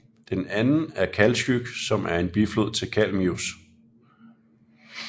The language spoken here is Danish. Den anden er Kaltsjyk som er en biflod til Kalmius